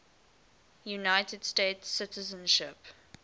united states citizenship